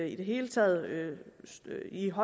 i det hele taget stige